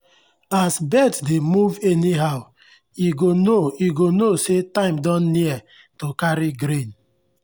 as birds dey move anyhow e go know e go know say time don near to carry grain.